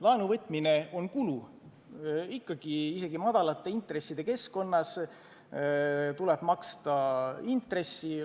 Laenu võtmine on kulu, isegi madalate intresside korral tuleb maksta intressi.